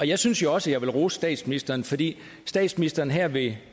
jeg synes også jeg vil rose statsministeren fordi statsministeren her ved